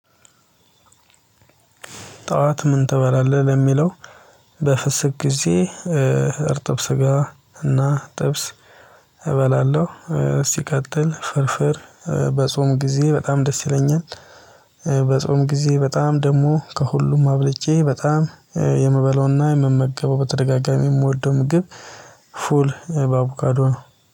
ጠዋት ምን ትበላለህ? ለሚለው በፍስክ ጊዜ እርጥብ ስጋ እና ጥብስ እበላለሁ ሲቀጥል ፍርፍር በጾም ጊዜ በጣም ደስ ይለኛል በጾም ጊዜ በጣም ደግሞ ከሁሉም አብልጬ በጣም የምበላውና የምመገበው በተደጋጋሚ የምወደው ምግብ ፉል በአቡካዶ ነው